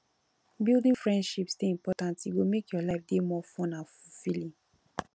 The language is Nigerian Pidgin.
building friendships dey important e go make your life dey more fun and fulfilling